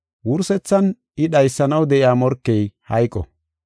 Wursethan I dhaysanaw de7iya morkey hayqo.